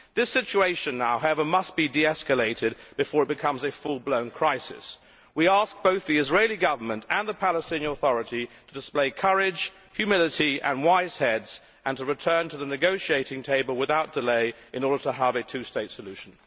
This situation now, however, must be de escalated before it becomes a full blown crisis. We ask both the Israeli Government and the Palestinian authority to display courage, humility and wise heads and to return to the negotiating table without delay in order to have a two state solution.